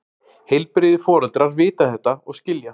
Heilbrigðir foreldrar vita þetta og skilja.